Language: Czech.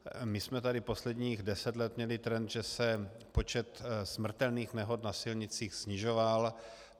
My jsme tady posledních deset let měli trend, že se počet smrtelných nehod na silnicích snižoval.